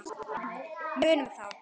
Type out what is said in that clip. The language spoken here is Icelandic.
Munum þá.